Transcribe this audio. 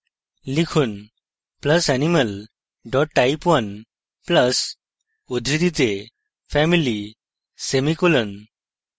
লিখুন: + animal type1 + উদ্ধৃতিতে family semicolon